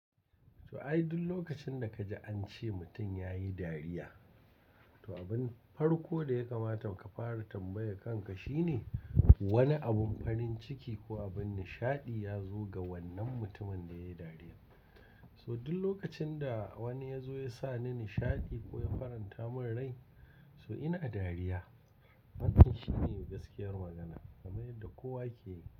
To ai duk lokacin da ka ji an ce mutum ya yi dariya, to abin farko da ya kamata ka fara tambaye kanka shine wane abun farin ciki ko abun nishaɗi ya zo ga wannan mutumin da ya yi dariya. So duk lokacin da wani ya zo ya sa ni nishaɗi ko ya faranta mun rai so ina dariya. Wannan shine gaskiyar magana kamar yadda kowa ye ke yi.